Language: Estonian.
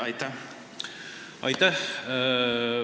Aitäh!